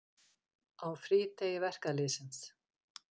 Á frídegi verkalýðsins.